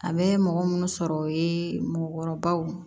A bɛ mɔgɔ minnu sɔrɔ o ye mɔɔkɔrɔbaw